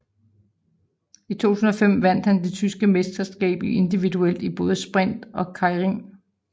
I 2015 vandt han det tyske mesterskab individuelt i både sprint og keirin